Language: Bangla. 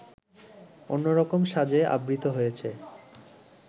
অন্যরকম সাজে আবৃত হয়েছে